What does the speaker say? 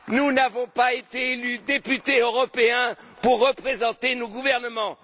Nous n'avons pas été élus députés européens pour représenter nos gouvernements.